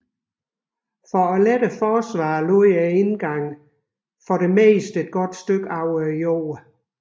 For at lette forsvaret lå indgangen oftest et godt stykke over jorden